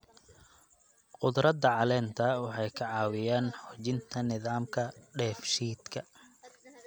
Khudradda caleenta waxay ka caawiyaan xoojinta nidaamka dheef-shiidka.